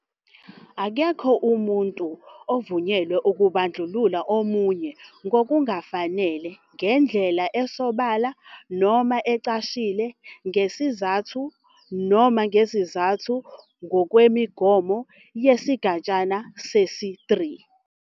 Akekho umuntu ovunyelwe ukubandlulula omunye ngokungafanele ngendlela esobala noma ecashile ngesizathu noma ngezizathu ngokwemigomo yesigatshana sesi-3.